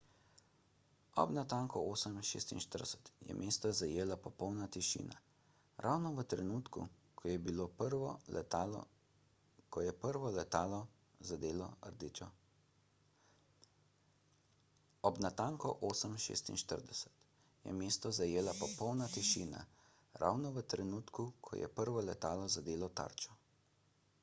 ob natanko 8.46 je mesto zajela popolna tišina ravno v trenutku ko je prvo letalo zadelo tarčo